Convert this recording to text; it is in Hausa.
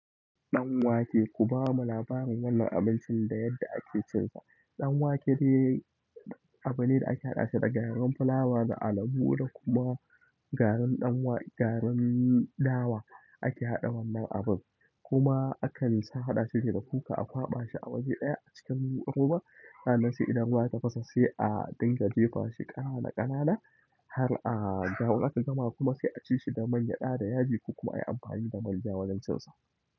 Ɗanwake, ku ba mu labarin wannan abincin da yadda ake cinsa. Ɗanwake dai abune da ake haɗa shi da garin fulawa da alabo da kuma garin dawa ake haɗa wannan abin. Kuma akan sa haɗa shi da kuka a kwaɓa shi a waje ɗaya a cikin ruwa. Sa'annan sai idan ruwa ya tafasa sai a dinga jefa shi ƙanana ƙanana har a jawo, in aka gama kuma sai a ci shi da mangyada, da yaji ko kuma a yi amfani da manja wajen cin sa.